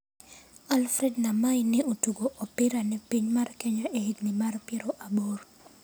Alfred Namai ne otugo opira ne piny mar Kenya e higni mag piero aboro,